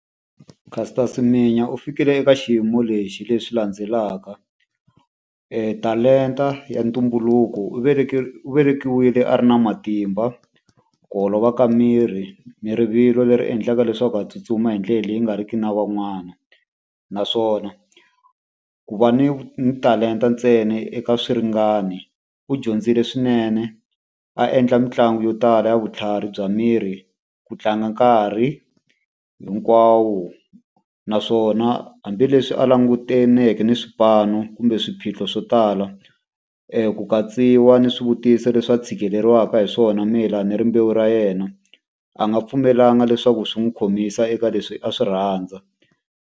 Caster Semenya u fikile ka xiyimo lexi leswi landzelaka. Talenta ya ntumbuluko. U velekiwile a ri na matimba, ku olova ka miri, ni rivilo leri endlaka leswaku a tsutsuma hi rivilo leri endlaka a tsutsuma hi ndlela leyi nga ri ki na van'wana. Naswona ku va ni talenta ntsena eka swiringani, u dyondzile swinene a endla mitlangu yo tala ya vutlhari bya miri ku tlanga nkarhi hinkwawo. Naswona hambileswi a langutaneke na swipano kumbe swiphiqo swo tala ku katsiwa ni swivutiso leswi a tshikeleriwaka hi swona mayelana na rimbewu ra yena, a nga pfumelangi leswaku swi n'wi khomisa eka leswi a swi rhandza.